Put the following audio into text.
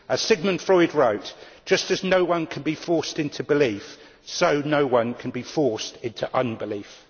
As Sigmund Freud wrote, just as no one can be forced into belief, so no one can be forced into unbelief'.